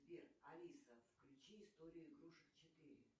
сбер алиса включи историю игрушек четыре